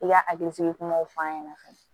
I ka hakilisigi kumaw fɔ an ɲɛna fɛnɛ